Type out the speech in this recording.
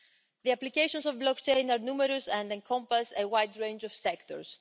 The applications of blockchain are numerous and encompass a wide range of sectors.